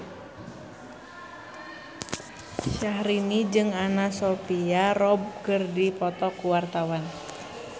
Syahrini jeung Anna Sophia Robb keur dipoto ku wartawan